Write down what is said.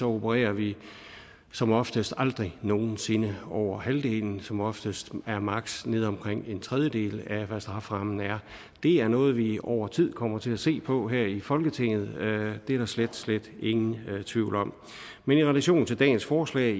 opererer vi som oftest aldrig nogen sinde over halvdelen som oftest er maksimum nede omkring en tredjedel af hvad strafferammen er det er noget vi over tid kommer til at se på her i folketinget det er der slet slet ingen tvivl om men i relation til dagens forslag